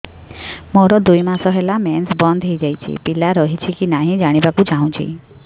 ମୋର ଦୁଇ ମାସ ହେଲା ମେନ୍ସ ବନ୍ଦ ହେଇ ଯାଇଛି ପିଲା ରହିଛି କି ନାହିଁ ଜାଣିବା କୁ ଚାହୁଁଛି